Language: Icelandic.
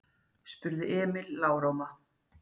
spurði Emil lágróma.